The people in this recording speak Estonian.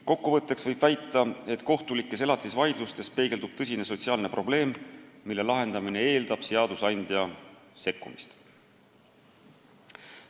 Kokku võttes võib väita, et kohtulikes elatisvaidlustes peegeldub tõsine sotsiaalne probleem, mille lahendamine eeldab seadusandja sekkumist.